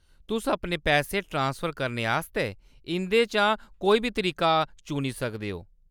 तुस अपने पैसे ट्रांसफर करने आस्तै इंʼदे चा कोई बी तरीका चुनी सकदे ओ।